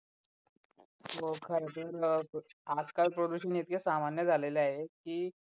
हो खरं तर आज-काल प्रदूषण इतके सामान्य झालेले आहे की